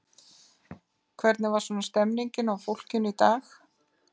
Hvernig var svona stemningin á fólkinu í dag?